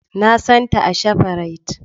Na san ta a shafrite